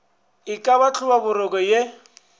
e ka ba hlobaboroko ye